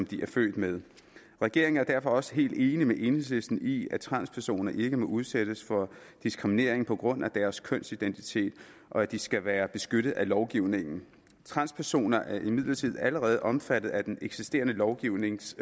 de er født med regeringen er derfor også helt enig med enhedslisten i at transpersoner ikke må udsættes for diskriminering på grund af deres kønsidentitet og at de skal være beskyttet af lovgivningen transpersoner er imidlertid allerede omfattet af den eksisterende lovgivnings